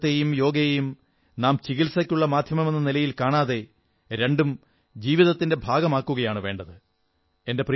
ആയുർവ്വേദത്തെയും യോഗയെയും നാം ചികിത്സയ്ക്കുള്ള മാധ്യമമെന്ന നിലയിൽ കാണാതെ രണ്ടും ജീവിതത്തിന്റെ ഭാഗമാക്കുകയാണു വേണ്ടത്